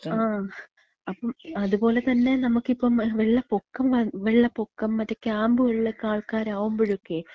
ങാ, അപ്പം, അതുപോലെതന്നെ നമക്ക് ഇപ്പം വെള്ളപ്പൊക്കം വന്ന, വെള്ളപ്പൊക്കം മറ്റേ ക്യാമ്പുകളിലെക്ക ആൾക്കാരാകുമ്പഴക്കേ,